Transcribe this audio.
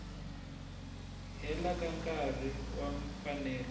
leha ka nkarhi wa mfanelo